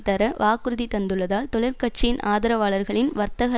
தர வாக்குறுதி தந்துள்ளதால் தொழிற் கட்சியின் ஆதரவாளர்களின் வர்த்தக